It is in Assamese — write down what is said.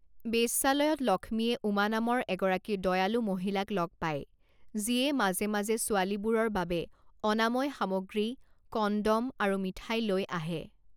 বেশ্যালয়ত লক্ষ্মীয়ে উমা নামৰ এগৰাকী দয়ালু মহিলাক লগ পায়, যিয়ে মাজে মাজে ছোৱালীবোৰৰ বাবে অনাময় সামগ্ৰী, কনড'ম আৰু মিঠাই লৈ আহে।